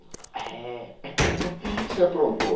Eh. O que que você aprontou?